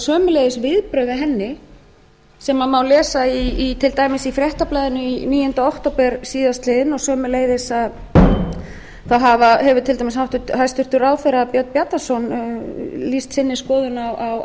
sömuleiðis viðbrögð við henni sem má lesa til dæmis í fréttablaðinu níundi október síðastliðinn og sömuleiðis hefur til dæmis hæstvirtur ráðherra björn bjarnason lýst þessari skoðun á